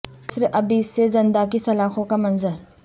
قصر ابیض سے زنداں کی سلاخوں کا منظر